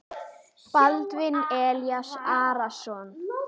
Baldvin Elís Arason.